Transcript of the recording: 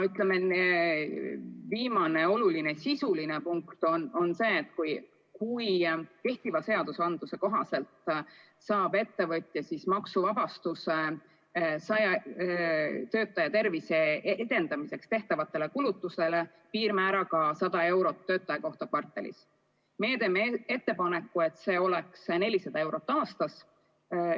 Viimane oluline sisuline punkt on see, et kui kehtiva seaduse kohaselt saab ettevõtja maksuvabastuse töötajate tervise edendamiseks tehtavatele kulutustele piirmääraga 100 eurot töötaja kohta kvartalis, siis meie teeme ettepaneku, et see oleks 400 eurot aastas.